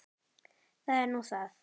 Það er nú það.